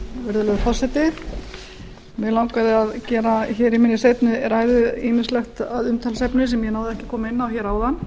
virðulegur forseti mig langaði að gera hér í minni seinni ræðu ýmislegt að umtalsefni sem ég náði ekki að koma inn á hér áðan